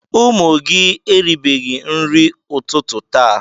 Ụmụ gị eribeghị nri ụtụtụ taa.